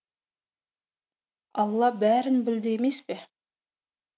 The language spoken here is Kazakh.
алла бәрін білді емес пе